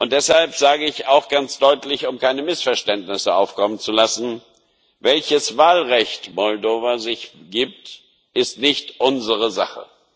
Deshalb sage ich auch ganz deutlich um keine Missverständnisse aufkommen zu lassen Welches Wahlrecht sich Moldau gibt, ist nicht unsere Sache.